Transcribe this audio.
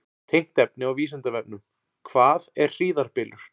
Tengt efni á Vísindavefnum: Hvað er hríðarbylur?